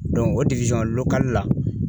o lo lokali la